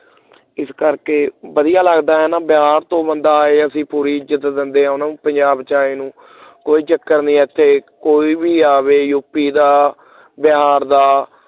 ਇਸ ਕਰਕੇ ਵਧੀਆ ਲਗਦਾ ਹੈ ਨਾ ਬਿਹਾਰ ਤੋਂ ਬਣਦਾ ਅਸੀਂ ਪੂਰੀ ਇਜ਼ਤ ਦਿਦੇ ਐ ਉਹਨੂੰ ਪੰਜਾਬ ਚ ਆਏ ਨੂੰ ਕੋਈ ਚਕਰ ਨਹੀਂ ਏਥੇ ਕੋਈ ਵੀ ਆਵੇ ਯੂਪੀ ਦਾ ਬਿਹਾਰ ਦਾ